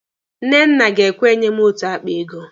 Nnenna ga-ekwe enye m otu akpa ego.